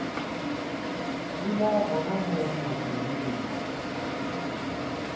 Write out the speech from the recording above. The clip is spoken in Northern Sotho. dula gona mo mathuding mma